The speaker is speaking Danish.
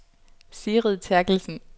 Sigrid Therkelsen